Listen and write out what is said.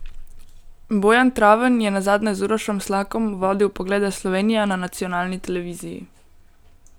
Bojan Traven je nazadnje z Urošem Slakom vodil Poglede Slovenija na nacionalni televiziji.